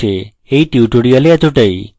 এই tutorial এতটাই